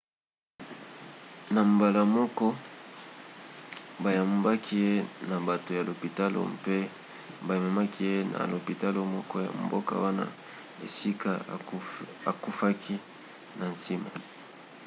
na mbala moko bayambaki ye na bato ya lopitalo mpe bamemaki ye na lopitalo moko ya mboka wana esika akufaki na nsima